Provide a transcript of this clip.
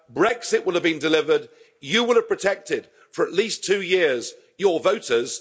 Brexit will have been delivered, you will have protected for at least two years your voters.